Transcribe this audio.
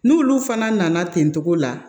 N'olu fana nana ten togo la